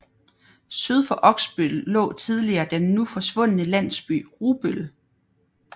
Syd for Oksbøl lå tidligere den nu forsvundne landsby Rubøl